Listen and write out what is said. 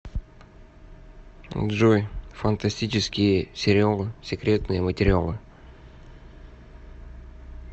джой фантастические сериал секретные материалы